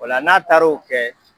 O la n'a taar'o kɛ